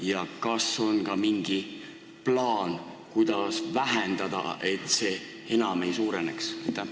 Ja kas on ka mingi plaan, kuidas tarbimist vähendada, et see enam ei suureneks?